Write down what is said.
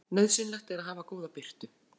Nauðsynlegt er að hafa góða birtu.